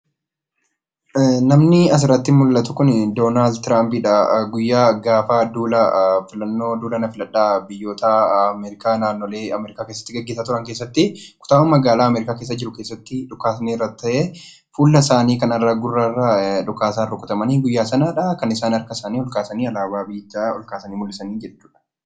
Namni asirratti mul'atu kun Doonaald Tiraamp dha. Guyyaa gaafa duula filannoo duula na filadhaa biyyoota Ameerikaa keessatti gaggeessaa turanitti kutaama magaalaa Ameerikaa keessatti dhukaasni irratti ta'ee fuula isaanii gara gurraa urra dhukaasaan kan rukutamanidha. Guyyaa sanadha kan isaan harka isaanii ol kaasanii alaabaa biyyichaa ol kaasan.